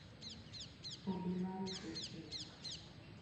Obila rito chik.